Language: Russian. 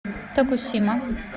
токусима